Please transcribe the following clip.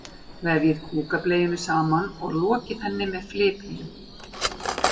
Vefjið kúkableiunni saman og lokið henni með flipunum.